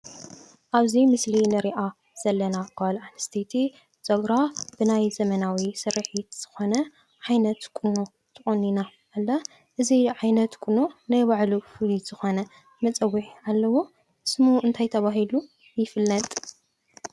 አብዚ ምስሊ እንሪኦ ዘለና ጋል አንስተይቲ ፀጉራ ብናይ ዘመናዊ ስሪሒት ዝኮነ ዓይነት ቁኖ ተቆኒና ዘላ። እዚ ዓይነት ቁኖ ናይ ባዕሉ ፍሉይ ዝኮነ መፀውዒ አለዎ። ስሙ እንታይ ተባሂሉ ይፍለጥ?